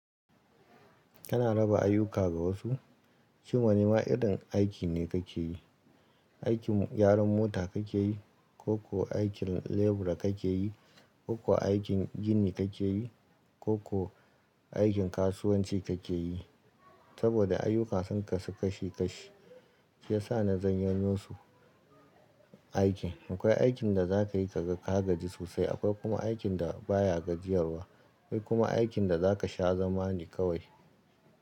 Kana raba ayyuka ga wasu? Shi wane ma irin aiki ne kake yi? Aikin gyaran mota kake yi, ko kuwa aikin lebura kake yi, ko kuwa aikin gini kake yi? Ko ko aikin kasuwanci kake yi? Saboda ayyuka sun kasu kashi kashi, shi ya sa na zanyano su, aikin. Akwai aikin da za ka yi ka ga ka gaji sosai, akwai kuma aikin da ba ya gajiyarwa, akwai kuma aikin da za ka sha zama ne kawai.